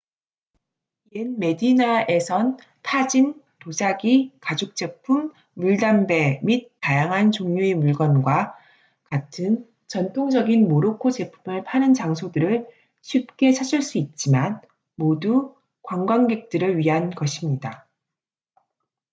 옛 메디나에선 타진 도자기 가죽제품 물담배 및 다양한 종류의 물건과 같은 전통적인 모로코 제품을 파는 장소들을 쉽게 찾을 수 있지만 모두 관광객들을 위한 것입니다